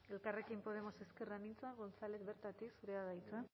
elkarrekin podemos ezker anitza gonzález bertatik zurea da hitza